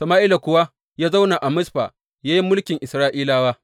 Sama’ila kuwa ya zauna a Mizfa ya yi mulkin Isra’ilawa.